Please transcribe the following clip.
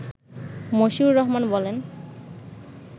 মশিউর রহমান বলেন